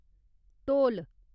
ढोल